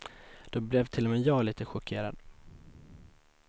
Då blev till och med jag lite chockerad.